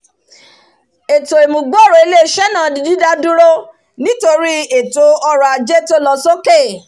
ètò ìmúgbòrò ilé isẹ́ náà di dídádúró nítorí ẹ̀tò ọrọ̀ ajé tó lo sókè